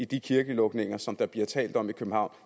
de kirkelukninger som der er tale om i københavn